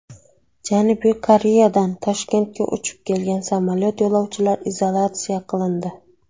Janubiy Koreyadan Toshkentga uchib kelgan samolyot yo‘lovchilari izolyatsiya qilindi.